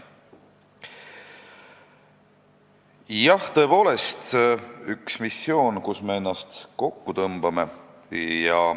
Jah, see on tõepoolest üks missioon, kus me ennast kokku tõmbame.